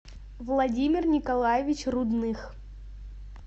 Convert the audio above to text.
владимир николаевич рудных